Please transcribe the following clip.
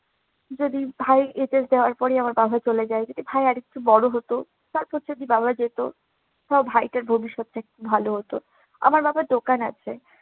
যেদিন ভাই বিদেশ যাওয়ার পরে আমার বাবা চলে যায়। যদি ভাই আরেকটু বড় হতো। তারপর যদি বাবা যেত, তাও ভাইটার ভবিষ্যৎটা একটু ভালো হতো, আমার বাবার দোকান আছে।